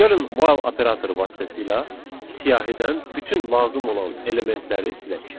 Gəlin while operatoru vasitəsilə siyahıdan bütün lazım olan elementləri silək.